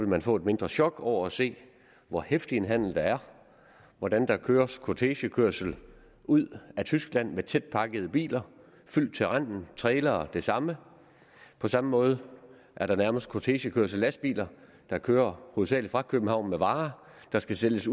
man få et mindre chok over at se hvor heftig en handel der er hvordan der køres kortegekørsel ud af tyskland med tætpakkede biler fyldt til randen trailere det samme på samme måde er der nærmest kortegekørsel med lastbiler der kører hovedsagelig fra københavn med varer der skal sælges